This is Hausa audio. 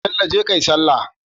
Bello jeka kayi sallah